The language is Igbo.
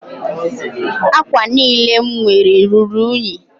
Ákwà niile m nwere ruru únyí